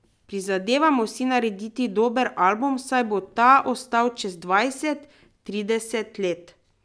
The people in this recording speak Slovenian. Prizadevamo si narediti dober album, saj bo ta ostal čez dvajset, trideset let.